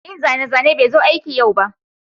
mai yin zane-zane bai zo aiki yau ba